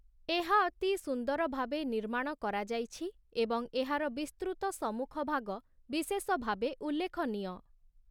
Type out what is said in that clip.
ଏହା ଅତି ସୁନ୍ଦର ଭାବେ ନିର୍ମାଣ କରାଯାଇଛି, ଏବଂ ଏହାର ବିସ୍ତୃତ ସମ୍ମୁଖଭାଗ ବିଶେଷ ଭାବେ ଉଲ୍ଲେଖନୀୟ ।